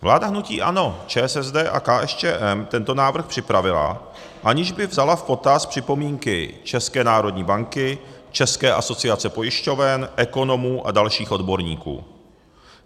Vláda hnutí ANO, ČSSD a KSČM tento návrh připravila, aniž by vzala v potaz připomínky České národní banky, České asociace pojišťoven, ekonomů a dalších odborníků.